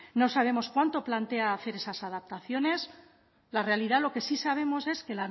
no sabemos cuándo plantea hacer esas adaptaciones la realidad lo que sí sabemos es que